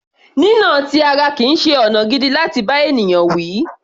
Ìnà ti ara kìí ṣe ọ̀nà gidi láti bá ènìyàn wí.